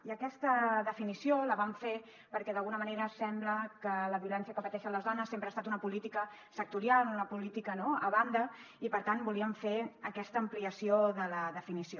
i aquesta definició la vam fer perquè d’alguna manera sembla que la violència que pateixen les dones sempre ha estat una política sectorial una política no a banda i per tant volíem fer aquesta ampliació de la definició